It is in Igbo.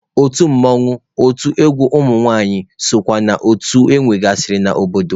Otu mmanwụ, otu egwu ụmụnwaanyị sokwa na otu enwegasịrị n'obodo.